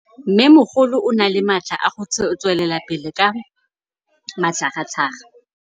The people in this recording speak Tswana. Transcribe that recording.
Mmêmogolo o na le matla a go tswelela pele ka matlhagatlhaga.